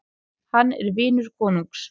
Hann er vinur konungs.